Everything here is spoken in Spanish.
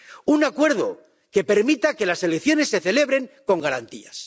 Un acuerdo que permita que las elecciones se celebren con garantías.